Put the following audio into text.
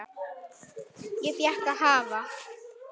Ég fékk að hafa